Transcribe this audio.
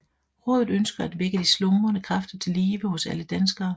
Rådet ønsker at vække de slumrende kræfter til live hos alle danskere